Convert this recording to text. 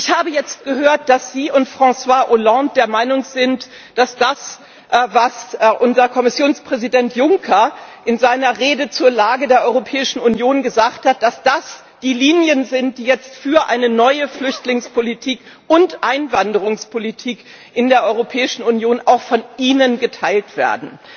Ich habe jetzt gehört, dass Sie und François Hollande der Meinung sind, dass das, was unser Kommissionspräsident Juncker in seiner Rede zur Lage der Europäischen Union gesagt hat, die Linien sind, die jetzt für eine neue Flüchtlingspolitik und Einwanderungspolitik in der Europäischen Union auch von Ihnen geteilt werden.